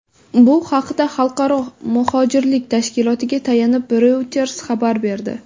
Bu haqda Xalqaro muhojirlik tashkilotiga tayanib, Reuters xabar berdi .